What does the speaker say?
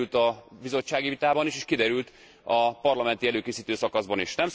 Ez kiderült a bizottsági vitában is, és kiderült a parlamenti előkészítő szakaszban is.